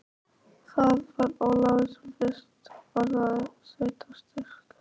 Það var Ólafur sem fyrst orðaði sveitarstyrk.